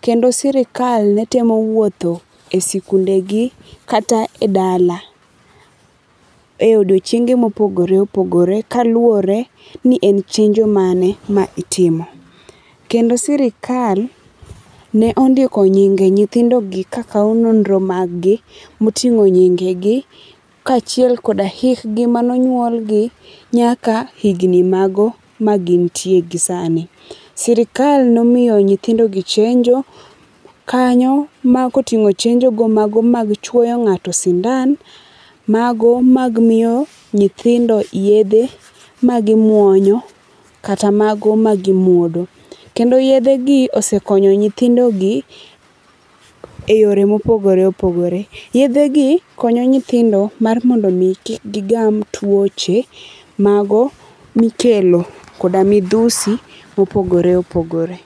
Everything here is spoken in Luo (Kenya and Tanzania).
kendo sirkal ne temo wuotho e skunde gi kata e dala,e odiochienge mopogore opogore kaluore ni en chenjo mane maitimo. Kendo sirkal ne ondiko nyinge nyithindogi ka kao nonro mag gi motingo nyinge gi kachiel koda hikgi mane onyuol gi nyaka higni mago magintie gi sani. Sirkal nomiyo nyithindo gi chenjo kanyo ma kotingo chenjo go mag chuoyo ngato sindan, mago mag miyo nyithindo yedhe magimuonyo kata mago ma gimodho Kendo yedhegi osekonyo nyithindo gi e yore mopogore opogore. Yedhe gi konyo nyithindo mar mondo kik gigam tuoche mago mikelo koda midhusi mopogore opogore